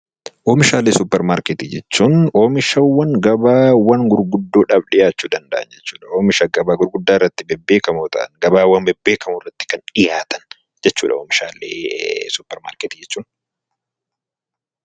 Oomishaalee suuparmaarketii jechuun oomishaawwan gabaawwan gurguddoo dhaaf dhiyaachuu danda'an jechuu dha. Oomisha gabaa gurguddaa irratti bebbeekamoo ta'an, gabaawwan bebbeekamoo irratti kan dhiyaatan jechuu dha oomishaalee suuparmaarketi jechuun.